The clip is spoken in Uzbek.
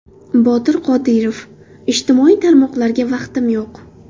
Botir Qodirov: Ijtimoiy tarmoqlarga vaqtim yo‘q.